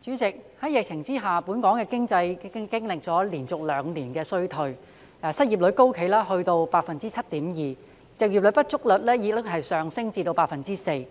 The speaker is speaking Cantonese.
主席，在疫情下，本港的經濟已經歷連續兩年衰退，失業率高企，達到 7.2%， 就業不足率亦上升至 4%。